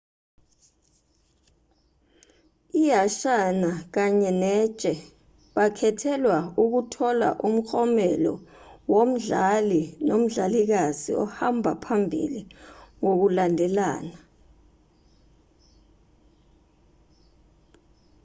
ihansana kanye netshe bakhethelwa ukuthola umklomelo womdlali nomdlalikazi ohamba phambili ngokulandelana